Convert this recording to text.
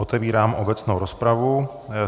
Otevírám obecnou rozpravu.